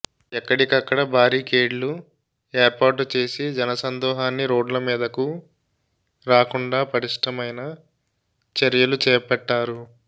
ఎక్కడికక్కడ బ్యారికేడ్లు ఏర్పాటు చేసి జనసందోహాన్ని రోడ్డమీదలకు రాకుండా పటిష్టమైన చర్యలు చేపట్టారు